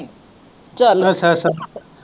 ਚੱਲ ਅੱਛਾ ਅੱਛਾ।